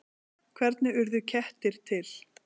Hvernig urðu kettir til?